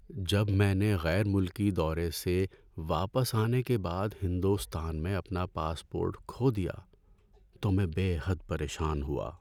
جب میں نے غیر ملکی دورے سے واپس آنے کے بعد ہندوستان میں اپنا پاسپورٹ کھو دیا تو میں بے حد پریشان ہوا۔